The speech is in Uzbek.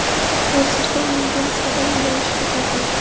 Hozirda unga nisbatan jinoiy ish qo‘zg‘atildi .